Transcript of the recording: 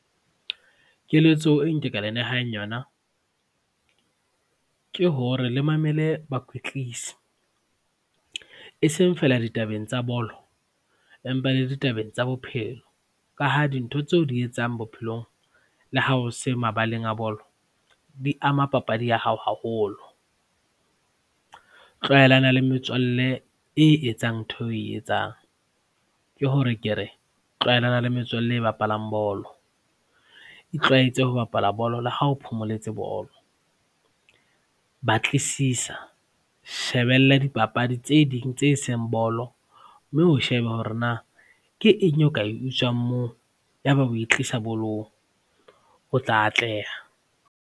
Keletso e nke ka le nehang yona ke hore le mamele bakwetlisi e seng feela ditabeng tsa bolo empa le ditabeng tsa bophelo ka ha dintho tseo di etsang bophelong, le ha o se mabaleng a bolo, di ama papadi ya hao haholo. Tlwaelana le metswalle e etsang ntho eo oe etsang ke hore ke re tlwaelane le metswalle e bapalang bolo, itlwaetse ho bapala bolo le ha o phomoletse bolo. Batlisisa, shebella dipapadi tse ding tse seng bolo mme o sheba hore na ke eng eo ka e utswang moo yaba o e tlisa bolong, o tla atleha.